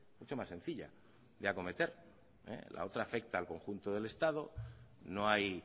mucho más sencilla de acometer la otra afecta al conjunto del estado no hay